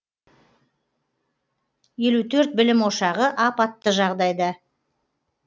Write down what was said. елу төрт білім ошағы апатты жағдайда